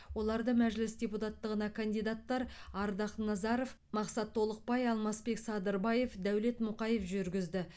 оларды мәжіліс депутаттығына кандидаттар ардақ назаров мақсат толықбай алмасбек садырбаев дәулет мұқаев жүргізді